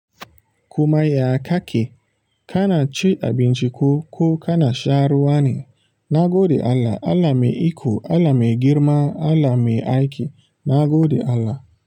Kuma ya kake? Kana cin abinci ko, ko kana sha ruwa ne? Na gode Allah, Allah mai iko, Allah mai girma, Allah mai aiki. Na gode Allah.